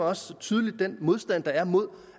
også tydeligt den modstand der er mod